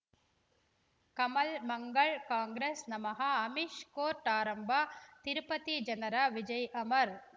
ಕಮಲ್ ಮಂಗಳ್ ಕಾಂಗ್ರೆಸ್ ನಮಃ ಅಮಿಷ್ ಕೋರ್ಟ್ ಆರಂಭ ತಿರುಪತಿ ಜನರ ವಿಜಯ ಅಮರ್